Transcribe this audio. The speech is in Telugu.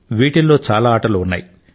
వీటిల్లో చాలా ఆటలు ఉన్నాయి